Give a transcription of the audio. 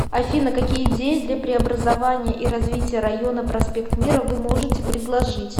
афина какие идеи для преобразования и развития района проспект мира вы можете предложить